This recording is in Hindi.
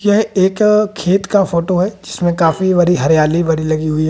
यह एक खेत का फोटो है जिसमें काफी भरी हरियाली भरी लगी हुई है।